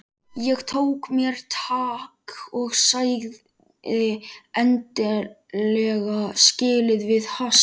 Ég tók mér tak og sagði endanlega skilið við hassið.